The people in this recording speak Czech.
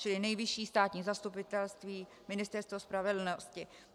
Čili Nejvyšší státní zastupitelství, Ministerstvo spravedlnosti.